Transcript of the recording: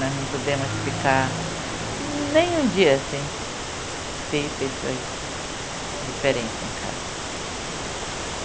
Nós não podemos ficar nem um dia sem ter pessoas diferentes em casa.